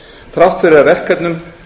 þrátt fyrir að verkefnum